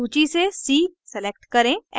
सूची से c select करें